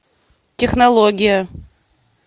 технология